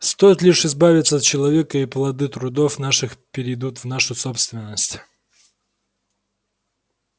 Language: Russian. стоит лишь избавиться от человека и плоды трудов наших перейдут в нашу собственность